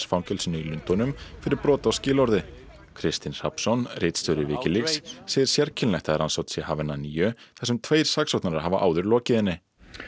fangelsinu í Lundúnum fyrir brot á skilorði Kristinn Hrafnsson ritstjóri Wikileaks segir sérkennilegt að rannsókn sé hafin að nýju þar sem tveir saksóknarar hafi áður lokið henni